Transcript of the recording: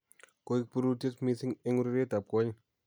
Koek birutiet missing eng urerietab kwonyik